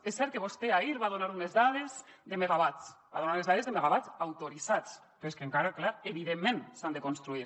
és cert que vostè ahir va donar unes dades de megawatts va donar les dades de megawatts autoritzats però és que encara clar evidentment s’han de construir